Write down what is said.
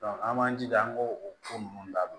an b'an jija an k'o ko ninnu dabila